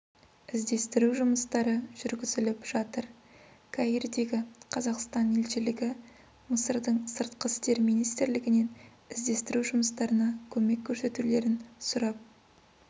іздестіру жұмыстары жүргізіліп жатыр каирдегі қазақстан елшілігі мысырдың сыртқы істер министрлігінен іздестіру жұмыстарына көмек көрсетулерін сұрап